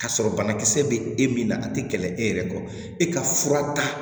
Ka sɔrɔ banakisɛ bɛ e min na a tɛ kɛlɛ e yɛrɛ kɔ e ka fura ta